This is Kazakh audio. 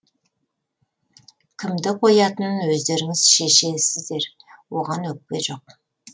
кімді қоятынын өздеріңіз шешесіздер оған өкпе жоқ